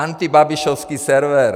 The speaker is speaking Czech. Antibabišovský server!